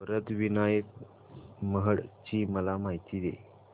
वरद विनायक महड ची मला माहिती दे